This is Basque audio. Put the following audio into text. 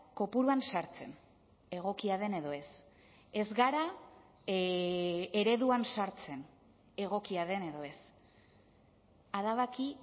kopuruan sartzen egokia den edo ez ez gara ereduan sartzen egokia den edo ez adabaki